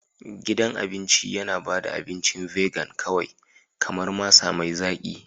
Gidan cin abinci yana ba da abincin vegan kawai kamar masara mai zaki.